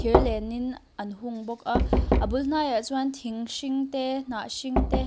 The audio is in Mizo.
thir lenin an hung bawk a a bul hnai ah chuan thing hring te hnah hring te--